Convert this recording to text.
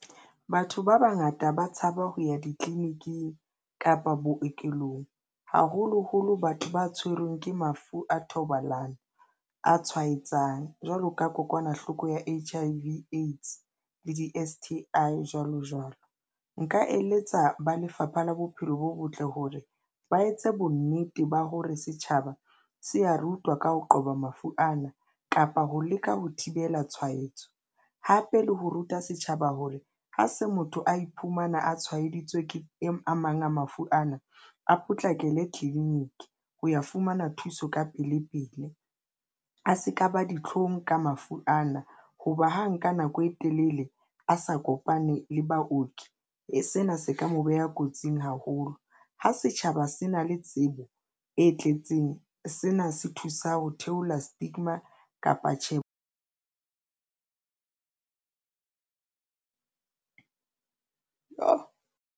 Batho ba bangata ba tshaba ho ya ditleliniking kapa bookelong, haholoholo batho ba tshwerweng ke mafu a thobalano a tshwaetsang jwalo ka kokwanahloko ya H_I_V le di-S_T_I jwalo jwalo. Nka eletsa ba Lefapha la Bophelo bo Botle hore ba etse bonnete ba hore setjhaba se a re utlwa ka ho qoba mafu ana kapa ho leka ho thibela tshwaetso hape le ho ruta setjhaba hore ha se motho a iphumana a tshwaeditswe ke a mang a mafu ana, a potlakele tleliniki ho ya fumana thuso ka pele pele a se ka ba ditlhong ka mafu ana. Hoba ha nka nako e telele, a sa kopane le baoki e sena se ka mo beha kotsing haholo ho setjhaba se na le tsebo e tletseng, sena se thusa ho theola stigma kapa tjhebo.